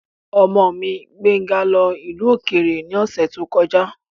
Ọmọ mi, Gbéńga lọ ìlú òkèrè ní ọ̀sẹ̀ tó kọjá.